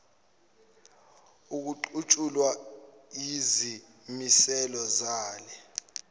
okuqutshulwa yizimiselo zale